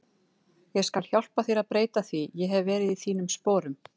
Ég skal hjálpa þér að breyta því, ég hef verið í þínum sporum.